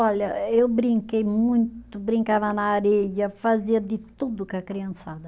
Olha, eu brinquei muito, brincava na areia, fazia de tudo com a criançada.